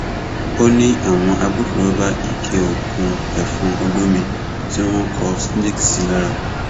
ó ní àwọn agbófinró bá ike oògùn ẹfọn olómi tí wọn kọ snake sí lára